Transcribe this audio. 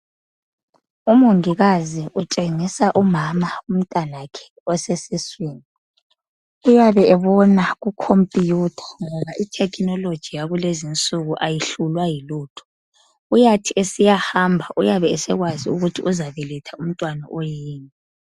Umongikazi utshengisa umama umntanakhe osesiswini uyabe ebona kukhomputha itechnology yakulezi insuku ayihlulwa yilutho uyathi esiyahamba uyabe esekwazi ukuthi uzabeletha umntwana oyini.